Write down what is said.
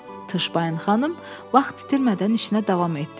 Tışbaxin xanım vaxt itirmədən işinə davam etdi.